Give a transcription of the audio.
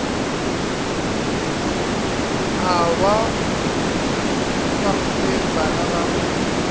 a wa tafoleng bana ba